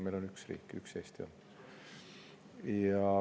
Meil on üks riik, üks Eesti.